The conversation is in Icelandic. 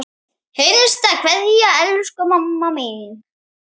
HINSTA KVEÐJA Elsku mamma mín.